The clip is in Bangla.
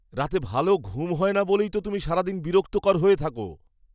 রাতে ভালো ঘুম হয় না বলেই তো তুমি সারাদিন বিরক্তকর হয়ে থাকো।